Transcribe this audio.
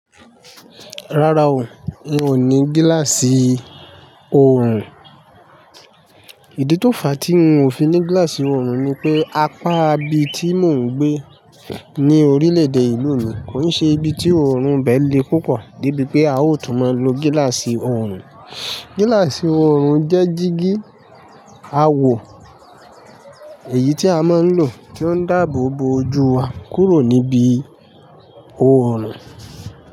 Rárá o, n ò ní gíláàsì òrùn. Ìdí tó fà tí n ò fi ní gíláàsì ọrùn ni pé apá ibi tí mò ń gbé ní orílẹ̀ èdè ìlú mi kò ṣe ibi tí ọrùn bẹ le púpọ débi pé a ò tún máa lo gíláàsì ọrùn. Gíláàsì ọrùn jẹ́ jígí a wo èyí tí a máa ń lò kí ó dàbò bo ojú wa kúrò níbi ọrùn.